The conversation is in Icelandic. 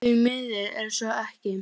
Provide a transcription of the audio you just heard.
Því miður er svo ekki